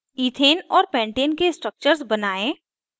ethane और pentane के structures बनायें